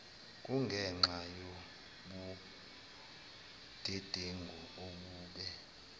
kungenxa yobudedengu obube